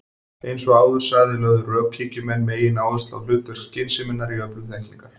Eins og áður sagði lögðu rökhyggjumenn megináherslu á hlutverk skynseminnar í öflun þekkingar.